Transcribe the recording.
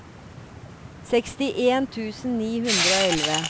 sekstien tusen ni hundre og elleve